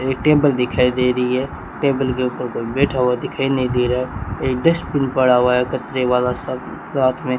ये टेबल दिखाई दे रही है टेबल के ऊपर कोई बैठा हुआ दिखाई नहीं दे रहा है एक डस्टबिन पड़ा हुआ है कचरे वाला सा साथ में --